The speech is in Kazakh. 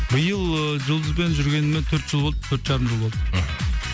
биыл ыыы жұлдызбен жүргеніме төрт жыл болды төрт жарым жыл болды мхм